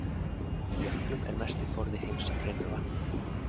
Í jöklum er mesti forði heims af hreinu vatni.